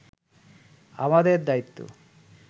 আমাদের দায়িত্ব